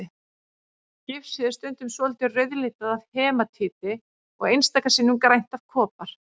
Gifsið er stundum svolítið rauðlitað af hematíti og einstaka sinnum grænt af kopar.